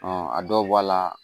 a dɔw bɔla